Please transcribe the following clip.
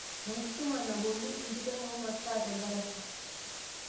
Enkisuma nabolu ntikiting' womasaa tedarasa.